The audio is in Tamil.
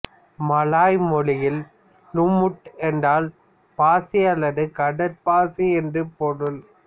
மலாய் மொழியில் லூமுட் என்றால் பாசி அல்லது கடற்பாசி என்று பொருள்